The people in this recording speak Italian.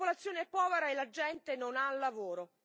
La popolazione è povera e la gente non ha lavoro.